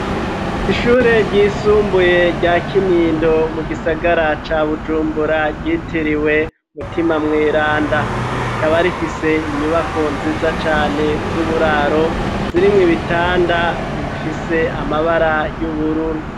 Ishuri ryisumbuye rya Kinindo mu gisagara ca Bujumbura ryitiriwe umutima mweranda rikaba rifise inyubako nziza cane z'uburaro zirimwo ibitanda bifise amabara y'ubururu